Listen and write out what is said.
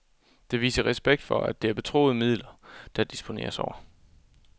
Det viser respekt for, at det er betroede midler, der disponeres over.